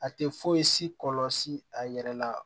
A tɛ foyi si kɔlsi a yɛrɛ la